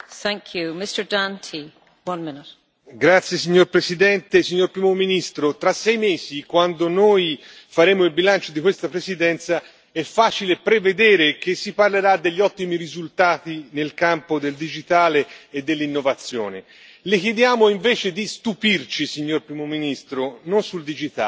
Signora Presidente, onorevoli colleghi, signor primo ministro, tra sei mesi, quando faremo il bilancio di questa Presidenza, è facile prevedere che si parlerà degli ottimi risultati nel campo del digitale e dell'innovazione. Le chiediamo invece di stupirci, signor primo ministro, non sul digitale, ma sul tema dell'immigrazione e dei rifugiati.